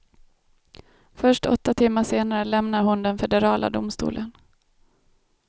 Först åtta timmar senare lämnade hon den federala domstolen.